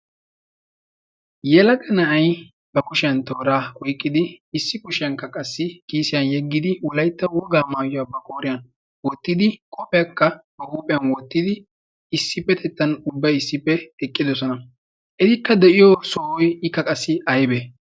yalaga na'ay ba kushiyan tooraa oyqqidi issi kushiyankka qassi kiisiyan yeggidi wolaytta wogaa maayuyaa ba kooriyan wottidi qoophiyaakka ba huuphiyan wottidi issippetettan ubbai issippe eqqidosona etikka de'iyo sohoy ikka qassi aybee